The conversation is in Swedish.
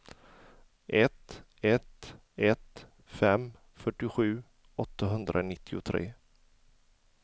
ett ett ett fem fyrtiosju åttahundranittiotre